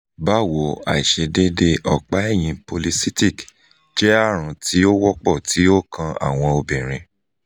bawo aisedeede ọpa-ẹyin polycystic (pcos) jẹ arun ti o wọpọ ti o kan awọn obinrin